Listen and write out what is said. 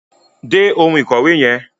Dé oun ìkòwé yen